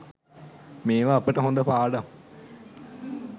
මේව අපට හොඳ පාඩම්